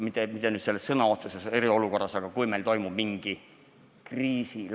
Ma ei pea silmas sõna otseses mõttes eriolukorda, vaid üldse mingit kriisi.